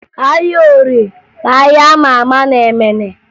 Ahịa Orie bụ ahịa a ma ama na Emene